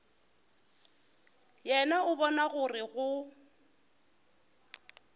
yena o bona gore go